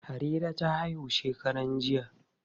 Harira ta haihu shekaran jiya.